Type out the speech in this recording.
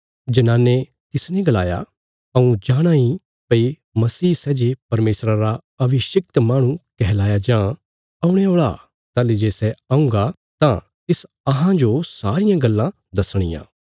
जनाने तिसने गलाया हऊँ जाणाँ इ भई मसीह सै जे परमेशरा रा अभिषिक्त माहणु कहलाया जां औणे औल़ा ताहली जे सै औंगा तां तिस अहां जो सारियां गल्लां दसणियां